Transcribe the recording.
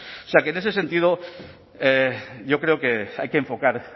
o sea que en ese sentido yo creo que hay que enfocar